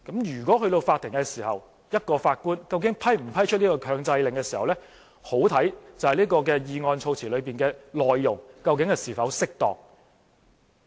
如果是在法庭，法官是否批出一個強制令，便相當視乎議案措辭的內容是否適當。